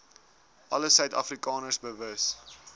alle suidafrikaners bewus